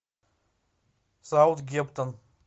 саутгемптон